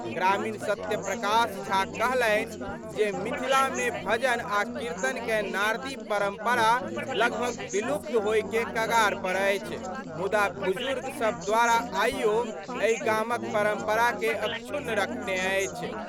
ग्रामीण सत्यप्रकाश झा कहलनि जे मिथिला में भजन आ कीर्तन कए नारदी परंपरा लगभग विलुप्त होय के कगार पर अछि मुदा बुजुर्ग सब द्वारा आइयो एहि गामक परंपरा कए अक्षुण्ण रखने अछि।